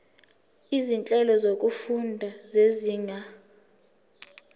izinhlelo zokufunda zezinga